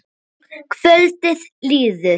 Kvöldið líður.